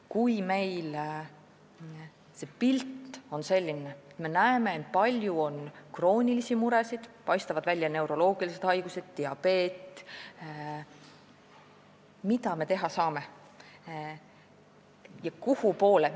Kui see pilt on selline, et me näeme palju kroonilisi muresid, paistavad välja neuroloogilised haigused ja diabeet, siis mida me teha saame?